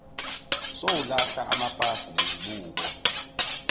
usowulahla amapasi nezibuko